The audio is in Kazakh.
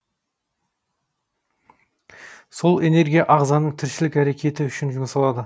сол энергия ағзаның тіршілік әрекеті үшін жұмсалады